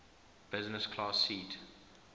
business class seat